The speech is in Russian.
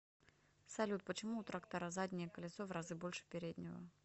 салют почему у трактора заднее колесо в разы больше переднего